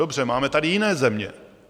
Dobře, máme tady jiné země.